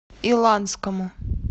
иланскому